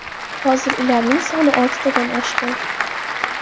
Hozir ularning soni oltidan oshgan.